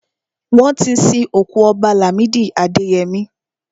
Wọ́n ti sin òkú Ọba Làmídì Adẹyẹmí.